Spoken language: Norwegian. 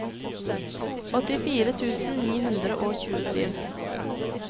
åttifire tusen ni hundre og tjuesju